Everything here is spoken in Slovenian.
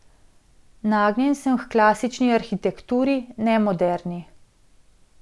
Nagnjen sem h klasični arhitekturi, ne moderni.